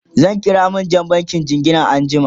zan kira manjan bankin jingina anjiama